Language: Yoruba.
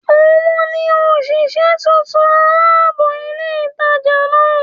Ò n ni òsìsé titun alábò ilé ìtajà náà